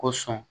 Ko sɔn